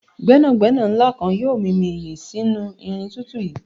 gbénàgbénà nla kan yoo mimi iye sinu irin tutu yii